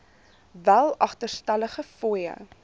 wel agterstallige fooie